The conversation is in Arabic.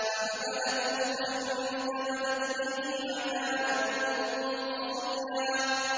۞ فَحَمَلَتْهُ فَانتَبَذَتْ بِهِ مَكَانًا قَصِيًّا